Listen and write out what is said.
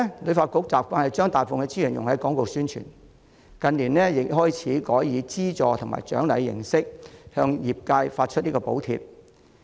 旅發局以往慣於將大部分資源用於廣告宣傳，近年亦開始改以資助及獎勵形式向業界發放補貼。